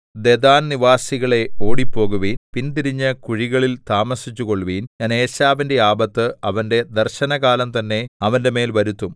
ദെദാൻനിവാസികളേ ഓടിപ്പോകുവിൻ പിന്തിരിഞ്ഞ് കുഴികളിൽ താമസിച്ചുകൊള്ളുവിൻ ഞാൻ ഏശാവിന്റെ ആപത്ത് അവന്റെ ദർശനകാലം തന്നെ അവന്റെമേൽ വരുത്തും